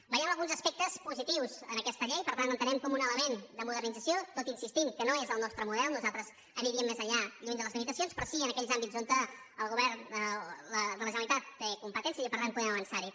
veiem alguns aspectes positius en aquesta llei per tant l’entenem com un element de modernització tot insistint que no és el nostre model nosaltres aniríem més enllà lluny de les limitacions però sí en aquells àmbits on el govern de la generalitat té competències i per tant podem avançar hi